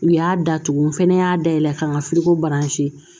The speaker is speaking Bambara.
U y'a datugu n fɛnɛ y'a dayɛlɛ k'an ka